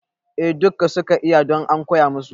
A dukka suka iya don an koya masu